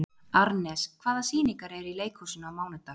Arnes, hvaða sýningar eru í leikhúsinu á mánudaginn?